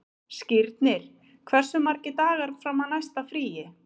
Skírnir, hversu margir dagar fram að næsta fríi?